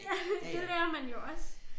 Ja det lærer man jo også